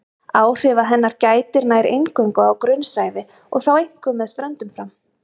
Áhrifa hennar gætir nær eingöngu á grunnsævi og þá einkum með ströndum fram.